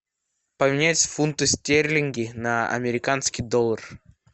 поменять фунты стерлинги на американский доллар